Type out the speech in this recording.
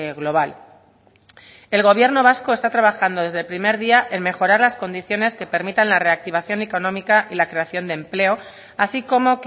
global el gobierno vasco está trabajando desde el primer día en mejorar las condiciones que permitan la reactivación económica y la creación de empleo así como